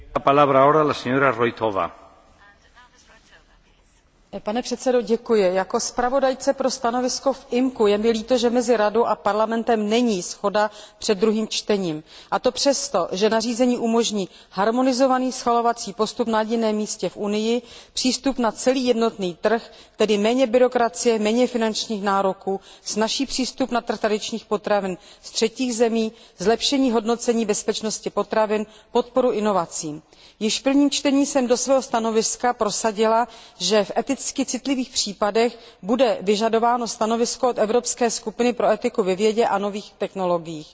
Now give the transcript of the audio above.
Jako navrhovatelce Výboru pro vnitřní trh a ochranu spotřebitelů je mi líto, že mezi Radou a Parlamentem není shoda před druhým čtením, a to přesto, že nařízení umožní harmonizovaný schvalovací postup na jediném místě v Unii, přístup na celý jednotný trh, tedy méně byrokracie, méně finančních nároků, snazší přístup na trh tradičních potravin z třetích zemí, zlepšení hodnocení bezpečnosti potravin, podporu inovacím. Již v prvním čtení jsem do svého stanoviska prosadila, že v eticky citlivých případech bude vyžadováno stanovisko od Evropské skupiny pro etiku ve vědě a nových technologiích.